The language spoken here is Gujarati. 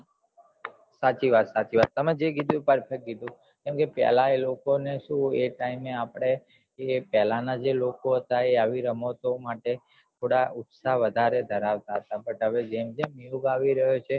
સાચી વાત સાચી વાત તમે જે કીધું perfect કીધું કેમ કે પેલાં અલોકો ને શું પેલાં ના time માં પેલાં ના જે લોકો હતા એ આવી રમતો માટે ઉત્સાહ વઘારે ધરાવતા તા પણ હવે જેમ જેમ યોંગ આવી રહ્યો છે